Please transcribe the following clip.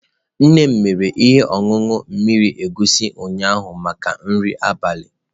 Nne m mere ihe ọṅụṅụ mmiri egusi ụnyaahụ maka nri abalị.